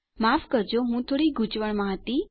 માફ કરજો હું થોડો ગુંચવણમાં હતો